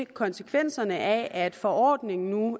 konsekvenserne af at forordningen nu